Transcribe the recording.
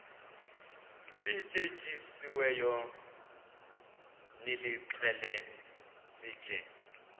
lityetyisiweyo nilixhele sitye